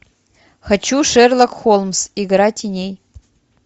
хочу шерлок холмс игра теней